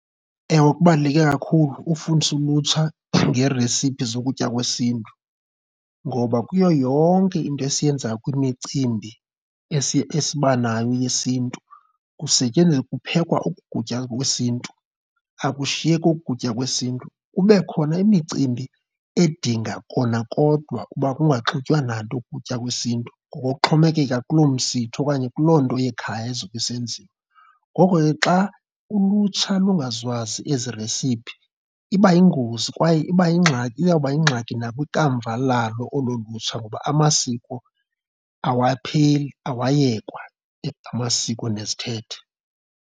Ewe, kubaluleke kakhulu ukufundisa ulutsha ngeeresiphi zokutya kwesiNtu ngoba kuyo yonke into esiyenzayo kwimicimbi esiba nayo yesiNtu kusetyenziswa, kuphekwa oku kutya kwesiNtu, akushiyeki oku kutya kwesiNtu. Kube khona imicimbi edinga kona kodwa uba kunganxitywa nanto oku kutya kwesiNtu ngokokuxhomekeke kulo msitho okanye kuloo nto yekhaya ezobe isenzizwa. Ngoko ke xa ulutsha lungazukwazi ezi iresiphi iba yingozi kwaye iba yingxaki, iyawuba yingxaki nakwikamva lalo olo lutsha ngoba amasiko awapheli, awayekwa, amasiko nezithethe.